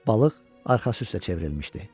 Balıq arxası üstə çevrilmişdi.